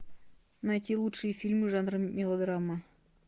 найти лучшие фильмы жанра мелодрама